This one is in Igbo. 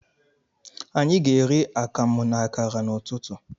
Anyi ga eri akamụ na akara ụtụtụ.